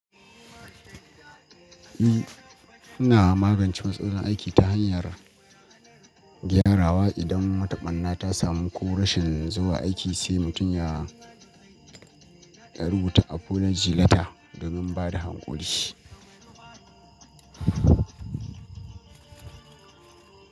Eh, muna magance matsalar aiki ta hanyar gyarawa. Idan wata ɓanna ta samu ko rashin zuwa aiki sai mutum ya, ya rubuta a folijileta domin bada hankuli.